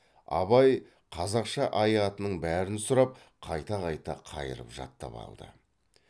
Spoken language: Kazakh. абай қазақша ай атының бәрін сұрап қайта қайта қайырып жаттап алды